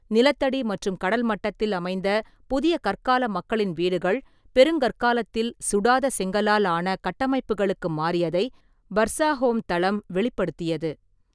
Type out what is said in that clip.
நிலத்தடி மற்றும் கடல்மட்டத்தில் அமைந்த புதிய கற்கால மக்களின் வீடுகள் பெருங்கற்காலத்தில் சுடாத செங்கலால் ஆன கட்டமைப்புகளுக்கு மாறியதை பர்சாஹோம் தளம் வெளிப்படுத்தியது.